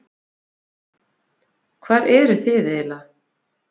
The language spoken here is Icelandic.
Sigurður: Hvar eruð þið aðallega?